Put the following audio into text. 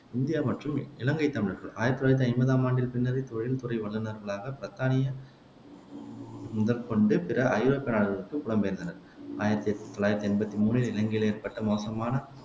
India மற்றும் இலங்கை தமிழர்கள் ஆயிரத்தி தொள்ளாயிரத்தி ஐம்பதாம் ஆண்டின் பின்னரே தொழில் துறை வல்லுநர்களாகப் பிரித்தானிய முதற்கொண்டு பிற ஐரோப்பிய நாடுகளுக்குப் புலம்பெயன்றனர் ஆயிரத்தி தொள்ளாயிரத்தி எம்பத்தி மூணில் இலங்கையில் ஏற்பட்ட மோசமான